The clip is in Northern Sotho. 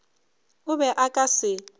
o be o ka se